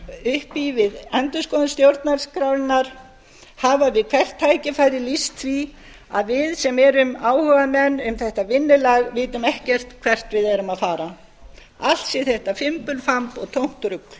upp í við endurskoðun stjórnarskrárinnar hafa við hvert tækifæri lýst því að við sem erum áhugamenn um þetta vinnulag vitum ekkert hvert við séum að fara allt sé þetta fimbulfamb og tómt rugl